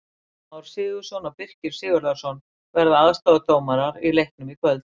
Gylfi Már Sigurðsson og Birkir Sigurðarson verða aðstoðardómarar í leiknum í kvöld.